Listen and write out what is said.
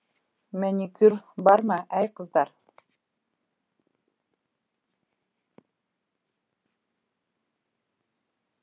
мәникур бар ма әй қыздар